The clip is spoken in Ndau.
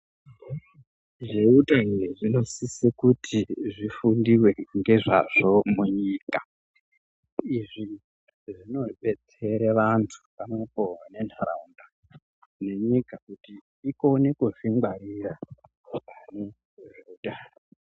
Zveutano zvinosise kuti zvifundive ngezvazvo munyika. Izvi zvinobetsere vantu pamwepo nenharaunda nenyika kuti ikone kuzvingwarira mune zveutano.